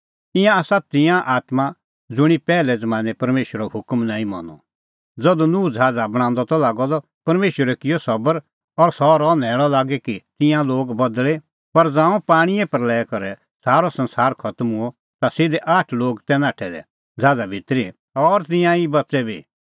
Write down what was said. ईंयां आसा तिंयां आत्मां ज़ुंणी पैहलै ज़मानैं परमेशरो हुकम नांईं मनअ ज़धू नूह ज़हाज़ा बणांदअ त लागअ द परमेशरै किअ सबर और सह रहअ न्हैल़अ लागी कि तिंयां लोग बदल़े पर ज़ांऊं पाणींए प्रल़या करै सारअ संसार खतम हुअ ता सिधै आठ लोग तै नाठै दै ज़हाज़ा भितरी और तिंयां ई बच़ै बी